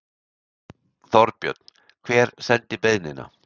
Þorbjörn: Hver sendi beiðnina?